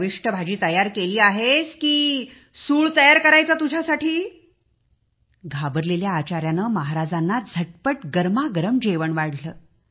चविष्ट भाजी शिजवली आहेस की तुला फाशी द्यायची आज घाबरलेल्या आचाऱ्याने झटपट जेवणाचे ताट तयार केले आणि महाराजांना गरमागरम जेवण वाढले